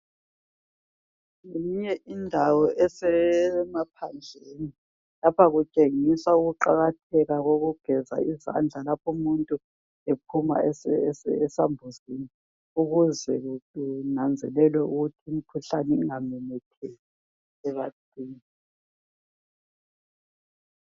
Ngeyinye indawo esemaphandleni lapha kutshengisa ukuqakatheka kokugeza izandla lapho umuntu ephuma esambuzini ukuze kunanzelelwe ukuthi imikhuhlane ingamemetheki ebantwini.